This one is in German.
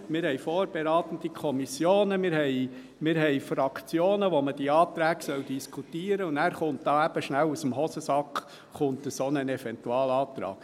Wir haben vorberatende Kommissionen, wir haben Fraktionen, in denen man die Anträge diskutieren soll, und nachher kommt aus dem Hosensack schnell ein solcher Eventualantrag.